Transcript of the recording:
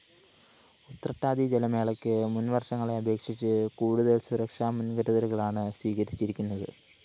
ഉത്രട്ടാതി ജലമേളയ്ക്ക് മുന്‍വര്‍ഷങ്ങളെ അപേക്ഷിച്ച് കൂടുതല്‍ സുരക്ഷാ മുന്‍കരുതലുകളാണ് സ്വീകരിച്ചിരിക്കുന്നത്